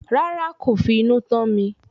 Rárá, kò fi inú tán mi